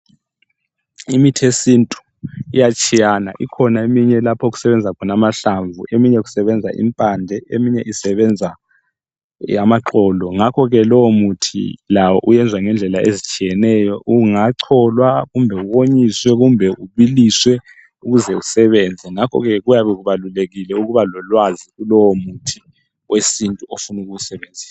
Imithi yesintu iyatshiya ikhona eminye lapho okusebenza khona amahlamvu, eminye kusebenza impande, eminye isebenza amaxolo. Ngakho ke lowo muthi lawo uyenza ngendlela ezitshiyeneyo ungacholwa kumbe uwonyiswe kumbe ubiliswe ukuze usebenze. Ngakho kuyabe kubalulekile ukuba lolwazi kulowo muthi wesintu ofuna ukuwu sebenzisa.